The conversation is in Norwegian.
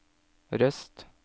Røst